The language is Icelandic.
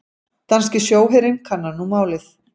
Danski sjóherinn kannar nú málið